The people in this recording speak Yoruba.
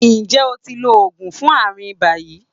Ǹjẹ́ o ti lo oògùn fún àrùn ibà yìí?